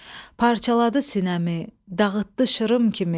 Parçaladı sinəmi, dağıtdı şırım kimi.